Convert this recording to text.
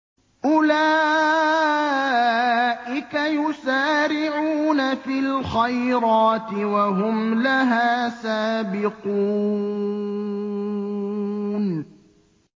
أُولَٰئِكَ يُسَارِعُونَ فِي الْخَيْرَاتِ وَهُمْ لَهَا سَابِقُونَ